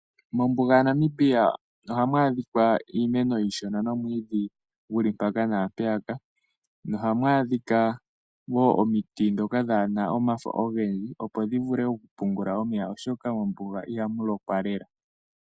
Mombuga yaNamibia ota mu adhika iimeno iishona nomwiidhi gul i mpaka naampeyaka nohamu adhika wo omiti ndhoka dhaa na omafo ogendji opo dhi vule okupungula omeya oshoka mombuga iha mu lokwa lela.